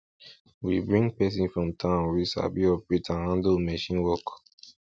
we bring person from town wey sabi operate and handle machine work